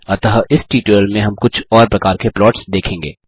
अतः इस ट्यूटोरियल में हम कुछ और प्रकार के प्लॉट्स देखेंगे